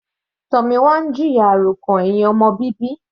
Tomina ń jìyà àròkàn ẹ̀hìn ọmọ bíbí.